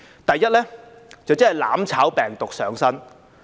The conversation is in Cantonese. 第一是"攬炒"病毒上身。